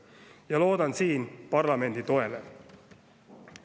Ja loodan siin parlamendi toele.